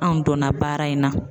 Anw donna baara in na.